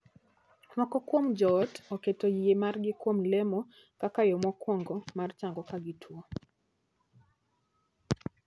Moko kuom joot oketo yie margi kuom lemo kaka yoo mokuongo mar chango ka gituo.